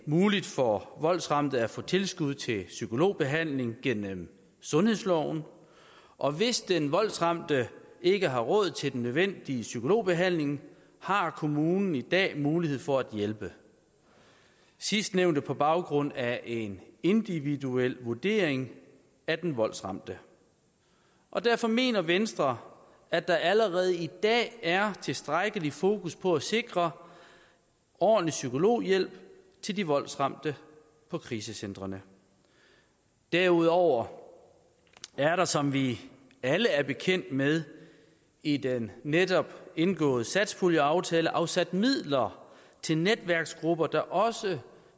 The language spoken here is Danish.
muligt for voldsramte at få tilskud til psykologbehandling gennem sundhedsloven og hvis den voldsramte ikke har råd til den nødvendige psykologbehandling har kommunen i dag mulighed for at hjælpe sidstnævnte er på baggrund af en individuel vurdering af den voldsramte og derfor mener venstre at der allerede i dag er tilstrækkelig fokus på at sikre ordentlig psykologhjælp til de voldsramte på krisecentrene derudover er der som vi alle er bekendt med i den netop indgåede satspuljeaftale afsat midler til netværksgrupper der også